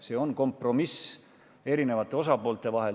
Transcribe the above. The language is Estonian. See on kompromiss erinevate osapoolte vahel.